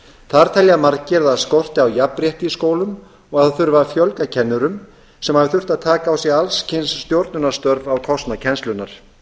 þar telja margir að það skorti á jafnrétti í skólum og að það þurfi að fjölga kennurum sem hafi þurft að taka á sig alls kyns stjórnunarstörf á kostnað kennslunnar